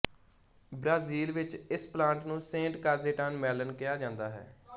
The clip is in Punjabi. ਬ੍ਰਾਜ਼ੀਲ ਵਿੱਚ ਇਸ ਪਲਾਂਟ ਨੂੰ ਸੇਂਟ ਕਾਜੇਟਾਨ ਮੈਲਨ ਕਿਹਾ ਜਾਂਦਾ ਹੈ